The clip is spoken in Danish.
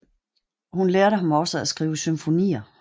Han lærte ham også at skrive symfonier